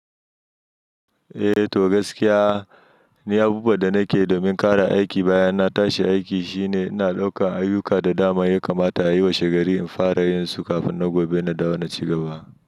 Eh to gaskiya ni abubuwan da nake yi domin ƙara aiki bayan na tashi aiki shine ina ɗaukan ayuka da dama ya kamata a yi washe gari in fara yin su kafin na gobe na dawo na ci luba.